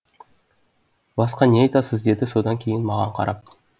басқа не айтасыз деді содан кейін маған қарап